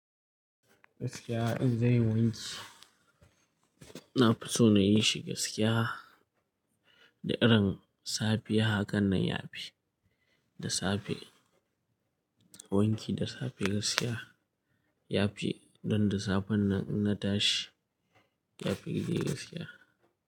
Gaskiya in zanyi wanki, na fi so na yi shi gaskiya da irin safiya haka nan ya fi da safe. Wanki da safe gaskiya ya fi, don da safen nan in na tashi, ya fi gaskiya.